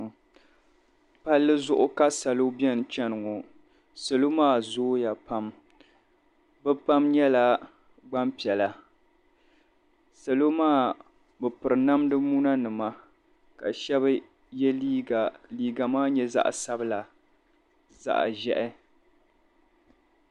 Palli zuɣu ka salo beni n-chani ŋɔ salo maa zooya pam bɛ pam nyɛla gbampiɛla salo maa bɛ piri namd’muna ka shɛba ye leega ka leega maa nyɛ zaɣ’sabila zaɣ’ʒɛhi